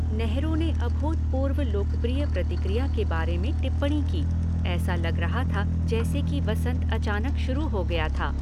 नेहरू ने अभूतपूर्व लोकप्रिय प्रतिक्रिया के बारे में टिप्पणी की, ऐसा लग रहा था जैसे कि वसंत अचानक शुरू हो गया था।